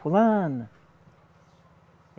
Fulana.